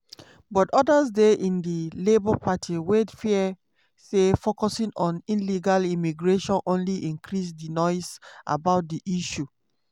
but odas dey in di labour party wey dey fear say focusing on illegal immigration only increase di noise about di issue.